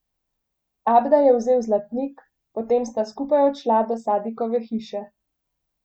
Abda je vzel zlatnik, potem sta skupaj odšla do Sadikove hiše.